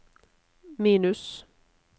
minus